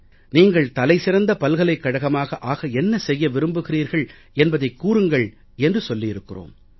நீங்கள் தலை சிறந்த பல்கலைக் கழகமாக ஆக என்ன செய்ய விரும்புகிறீர்கள் என்பதைக் கூறுங்கள் என்று சொல்லியிருக்கிறோம்